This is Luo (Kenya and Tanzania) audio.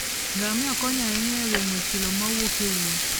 Ngamia konyo ahinya e geng'o chilo mawuok e wuoth.